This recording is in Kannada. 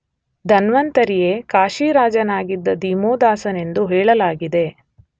ಧನ್ವಂತರಿಯೇ ಕಾಶಿರಾಜನಾಗಿದ್ದ ದಿವೋದಾಸನೆಂದೂ ಹೇಳಲಾಗಿದೆ.